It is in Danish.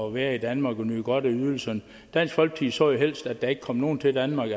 at være i danmark og nyde godt af ydelserne dansk folkeparti så jo helst at der ikke kom nogen til danmark